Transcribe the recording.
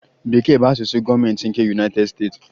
Bekee bụ asụsụ gọọmentị nke United States.